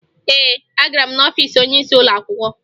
Ee, agara m n'ọfiisi onyeisi ụlọakwụkwọ